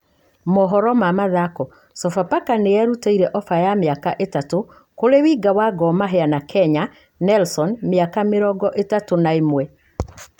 (Mohoro ma Mathako) Sofapaka nĩ erutĩte ofa ya mĩaka ĩtatũ kurĩ Winga wa Gor Mahia na Kenya, Nelson, miaka mĩrongoĩthatũ na ĩmwe.